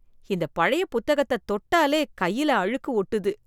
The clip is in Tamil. இந்த பழைய புத்தகத்த தொட்டாலே கையில அழுக்கு ஒட்டுது.